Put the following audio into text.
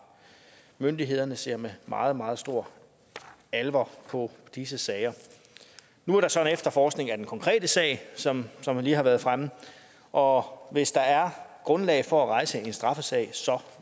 myndighederne ser med meget meget stor alvor på disse sager nu er der så en efterforskning af den konkrete sag som som lige har været fremme og hvis der er grundlag for at rejse en straffesag